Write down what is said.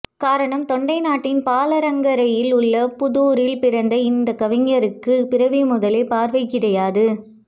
காரணம் தொண்டை நாட்டின் பாலாற்றங்கரையில் உள்ள பூதுாரில் பிறந்த இந்தக்கவிஞருக்கு பிறவி முதலே பார்வை கிடையாது